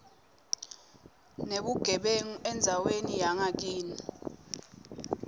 nebugebengu endzaweni yangakini